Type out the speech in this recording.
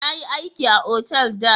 Na yi aiki a otal da.